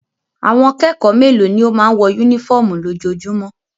Àwọn kẹ́kọ̀ọ́ mélòó ni ó máa ń wọ únífọ́ọ́mù lójoojúmọ́?